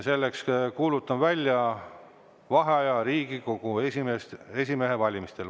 Kuulutan välja vaheaja Riigikogu esimehe valimisel.